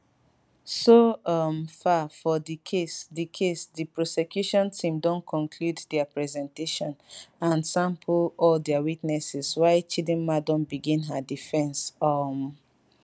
so um far for di case di case di prosecution team don conclude dia presentation and sample all dia witnesses while chidinma don begin her defense um